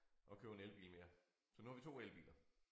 Og købe en elbil mere så nu har vi 2 elbiler